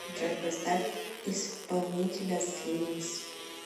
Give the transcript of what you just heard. джой поставь исполнителя слимс